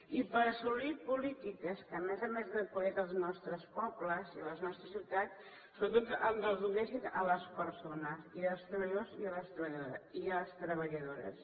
i per assolir polítiques que a més a més de qualitat dels nostres pobles i de les nostres ciutats sobretot ens els donessin a les persones i als treballadors i a les treballadores